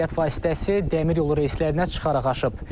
Nəqliyyat vasitəsi dəmir yolu reyslərindən çıxaraq aşıb.